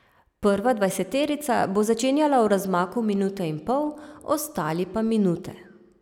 Prva dvajseterica bo začenjala v razmaku minute in pol, ostali pa minute.